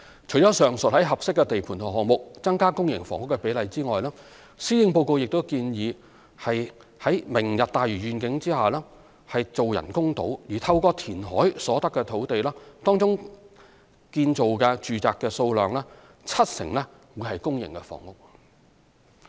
除了上述於合適的地盤及項目增加公營房屋的比例外，施政報告亦建議在"明日大嶼願景"下建造人工島，透過填海所得的土地，當中建造的住宅數量七成為公營房屋。